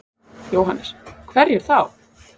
Jóhannes: Hverjir þá?